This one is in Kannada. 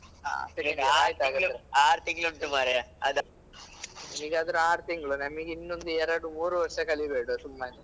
ಆರ್ ತಿಂಗ್ಳು ಉಂಟು ಮಾರಾಯ ಅದ. ನಿಂಗಾದ್ರೆ ಆರ್ ತಿಂಗ್ಳು ನಮಿಗೆ ಇನ್ನೊಂದು ಎರಡು ಮೂರು ವರ್ಷ ಕಲೀಬೇಡ್ವ ಸುಮ್ಮನೆ.